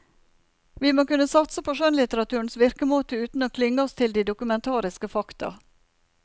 Vi må kunne satse på skjønnlitteraturens virkemåte uten å klynge oss til de dokumentariske fakta.